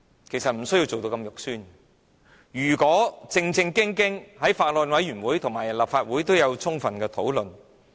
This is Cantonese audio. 其實，你不需要做得如此不堪，應該正正經經讓議員在法案委員會和立法會會議都有充分的討論。